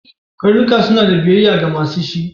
Karnuka suna ɗa biyayya ga masu su.